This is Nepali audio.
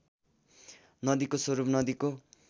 नदीको स्वरूप नदीको